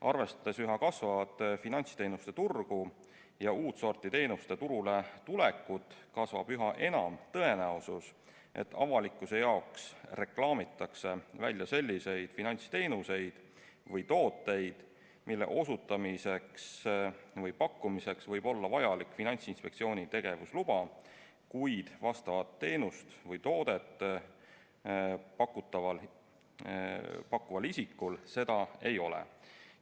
Arvestades üha kasvavat finantsteenuste turgu ja uut sorti teenuste turuletulekut, kasvab üha enam tõenäosus, et avalikkuse jaoks reklaamitakse välja selliseid finantsteenuseid või tooteid, mille osutamiseks või pakkumiseks võib olla vajalik Finantsinspektsiooni tegevusluba, kuid vastavat teenust või toodet pakkuval isikul seda ei ole.